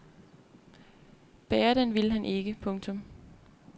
Bære den ville han ikke. punktum